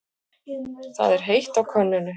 Það er heitt á könnunni.